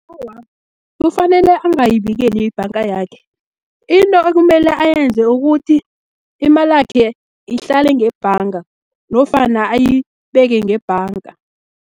Awa, kufanele angayibikeli yibhanga yakhe, into ekumele ayenze ukuthi, imalakhe ihlale ngebhanga, nofana ayibeke ngebhanga.